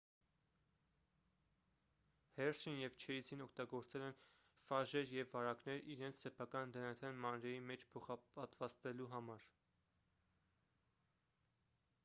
հերշին և չեյզին օգտագործել են ֆաժեր և վարակներ իրենց սեփական դնթ-ն մանրէի մեջ փոխպատվաստելու համար